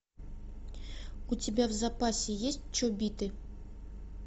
у тебя в запасе есть чобиты